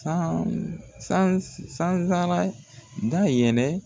San sans sansara dayɛlɛ